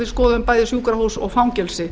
við skoðuðum bæði sjúkrahús og fangelsi